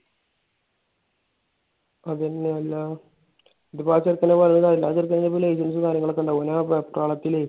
എന്നിട്ട് ഇപ്പൊ ആ ചെറുക്കനെ ആ ചെറുക്കന് ഇപ്പൊ licence ഉം കാര്യങ്ങളും ഒക്കെ ഇണ്ട്. അവൻ ആ വെപ്രാളത്തിലെ